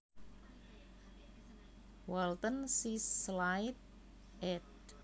Walton C Clyde ed